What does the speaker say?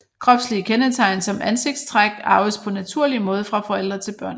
Kropslige kendetegn som ansigtstræk arves på naturlig måde fra forældre til børn